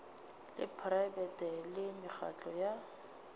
la praebete le mekgatlo ya